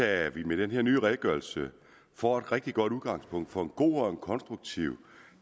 at vi med den her nye redegørelse får et rigtig godt udgangspunkt for en god og konstruktiv